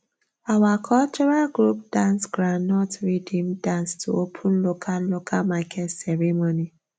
our cultural group dance groundnut rhythm dance to open local local market ceremony